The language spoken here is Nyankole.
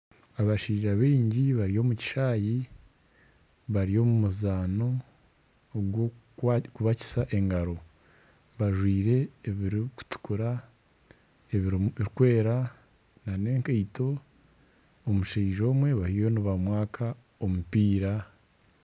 Abaishaija bingi bari omu kishaayi bari omu muzaano ogw'okubakisa engaro, bajwire ebirikutukura ebirimu ebirikwera n'ekaito omushaija omwe bariyo nibamwaka omumpiira